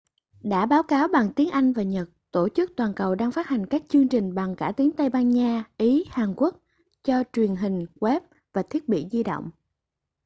đã báo cáo bằng tiếng anh và nhật tổ chức toàn cầu đang phát hành các chương trình bằng cả tiếng tây ban nha ý hàn quốc cho truyền hình web và thiết bị di động